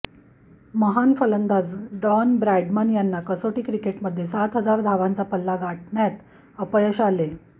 महान फलंदाज Don Bradman यांना कसोटी क्रिकेटमध्ये सात हजार धावांचा पल्ला गाठण्यात अपयश आले